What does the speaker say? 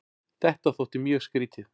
Þetta þótti mjög skrýtið.